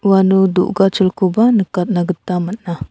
uano do·gacholkoba nikatna gita man·a.